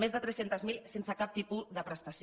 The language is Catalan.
més de tres cents miler sense cap tipus de prestació